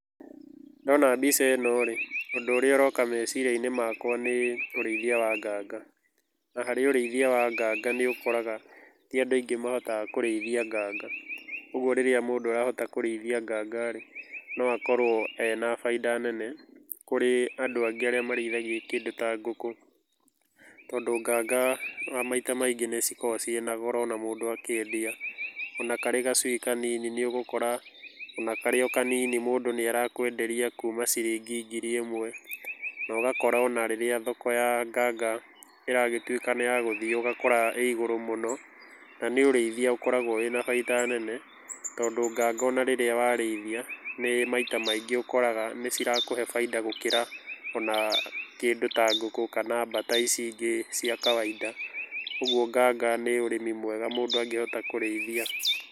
Ndona mbica ĩno rĩ, ũndũ ũria ũroka meciria-inĩ makwa nĩ ũrĩithia wa nganga, na harĩ ũrĩithia wa nganga nĩ ũkoraga ti andũ aingĩ mahotaga kũrĩithia nganga, ũguo rĩrĩa mũndũ arahota kũrĩithia nganga rĩ, no akorwo ena baita nene kũrĩ andũ angĩ arĩa marĩithagia kĩndũ ta ngũkũ, tondũ nganga maita maingĩ nĩ cikoragwo ciĩna goro ona mũndũ akĩendia ona karĩ gacui kanini nĩ ũgũkũra ona karĩ kanini mũndũ nĩ arakwenderia kuma ciringi ngiri ĩmwe, nogakora ona rĩrĩa thoko ya nganga ĩragĩtuĩka nĩ yagũthio ũgakora ĩrĩ igũrũ mũno na ũrĩithia ũkoraga wĩna baita nene tondũ nganga ona rĩrĩa warĩithia, nĩ maita maingĩ ũkoraga nĩcirakũhe baita gũkĩra ona kĩndũ ta ngũkũ kana mbata ici ingĩ cia kawaida ũguo nganga nĩ ũrĩmi mwega mũndũ angĩhota kũrĩithia.